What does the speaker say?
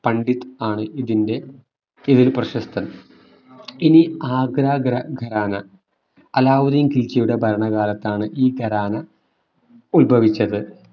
പണ്ഡിത് ആണ് ഇതിന്റെ ഇതിൽ പ്രശസ്തൻ ഇനി ആഗ്ര ഖരാന അലാവുദ്ദീൻ ഖിൽജിയുടെ ഭരണകാലത്താണ് ഈ ഖരാന ഉത്ഭവിച്ചത്